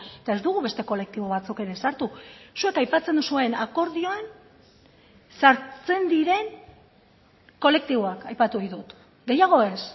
eta ez dugu beste kolektibo batzuk ere sartu zuek aipatzen duzuen akordioan sartzen diren kolektiboak aipatu ditut gehiago ez